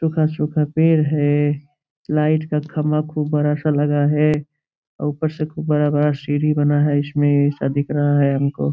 सुखा-सुखा पेड़ हैं लाइट का खम्भा खूब बड़ा सा लगा है। ऊपर से खूब बड़ा-बड़ा सीढ़ी बना है इस में ऐसा दिख रहा है हम को।